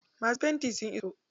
Masu fenti sun iso.